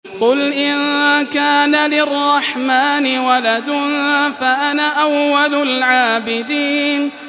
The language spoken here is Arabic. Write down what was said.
قُلْ إِن كَانَ لِلرَّحْمَٰنِ وَلَدٌ فَأَنَا أَوَّلُ الْعَابِدِينَ